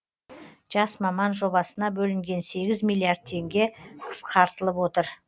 жас маман жобасына бөлінген сегіз миллиард теңге қысқартылып отыр